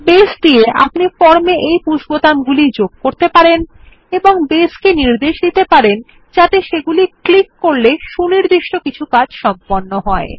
base দিয়ে আপনি form এ এই পুশ বোতামগুলি যোগ করতে পারেন এবং বেস কে নির্দেশ দিতে পারেন যাতে সেগুলি ক্লিক করলে সুনির্দিষ্ট কিছু কাজ সম্পন্ন হয়